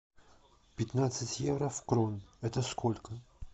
пятнадцать евро в крон это сколько